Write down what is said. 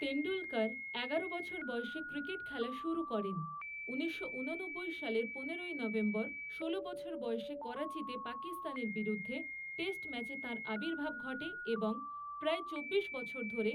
তেণ্ডুলকর এগারো বছর বয়সে ক্রিকেট খেলা শুরু করেন, ঊনিশশো ঊননব্বই সালের পনেরোই নভেম্বর ষোল বছর বয়সে করাচিতে পাকিস্তানের বিরুদ্ধে টেস্ট ম্যাচে তাঁর আবির্ভাব ঘটে এবং প্রায় চব্বিশ বছর ধরে